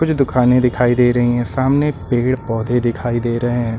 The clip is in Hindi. कुछ दुकानें दिखाई दे रही है सामने पेड़ पौधे दिखाई दे रहे हैं।